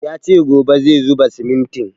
Ya ce gobe zai zuba simintin